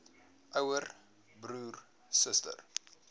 ouer broer suster